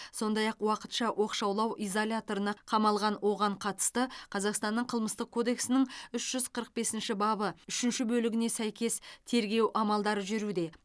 сондай ақ уақытша оқшаулау изоляторына қамалған оған қатысты қазақстанның қылмыстық кодексінің үш жүз қырық бесінші бабы үшінші бөлігіне сәйкес тергеу амалдары жүргізілуде